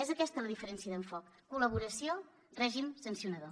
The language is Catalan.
és aquesta la diferència d’enfocament col·laboració règim sancionador